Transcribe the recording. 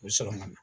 U bɛ sɔrɔ ka na